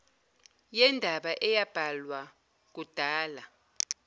yendaba eyabhalwa kudala